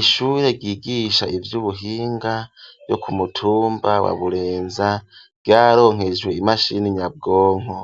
Ishuri ryigisha ivy'ubuhinga ryo ku mutumba wa Burenza ryararonkejwe imashini nyabwonko.